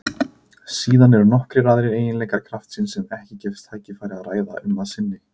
Síðan eru nokkrir aðrir eiginleikar kraftsins sem ekki gefst tækifæri að ræða um að sinni.